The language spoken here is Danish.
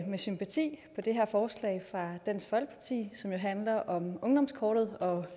med sympati på det her forslag fra dansk folkeparti som jo handler om ungdomskortet og